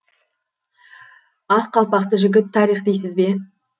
ақ қалпақты жігіт тарих дейсіз бе